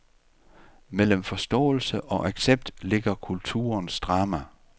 Mellem forståelse og accept ligger kulturens drama.